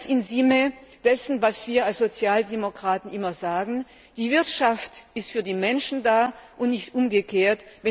Also ganz im Sinne dessen, was wir als Sozialdemokraten immer sagen Die Wirtschaft ist für die Menschen da, und nicht umgekehrt.